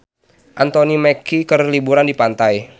Anthony Mackie keur liburan di pantai